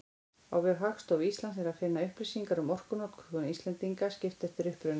Á vef Hagstofu Íslands er að finna upplýsingar um orkunotkun Íslendinga, skipt eftir uppruna.